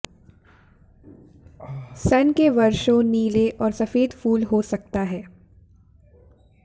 सन के वर्षों नीले और सफेद फूल हो सकता है